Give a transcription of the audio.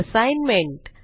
assignment